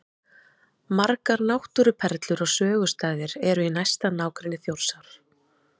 Margar náttúruperlur og sögustaðir eru í næsta nágrenni Þjórsár.